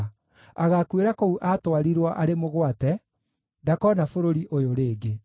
Agaakuĩra kũu aatwarirwo arĩ mũgwate; ndakoona bũrũri ũyũ rĩngĩ.”